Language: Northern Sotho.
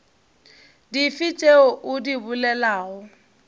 dife tšeo o di bolelago